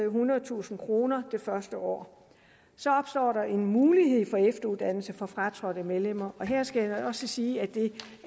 ethundredetusind kroner det første år så opstår der en mulighed for efteruddannelse for fratrådte medlemmer og her skal jeg også sige at det